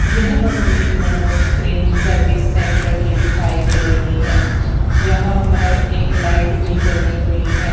यह तस्वीर मनोज क्रिन सर्विस सेंटर की दिखाई दे रही है यहां पर एक लाइट भी जली हुई है।